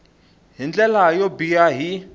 hi ndlela yo biha hi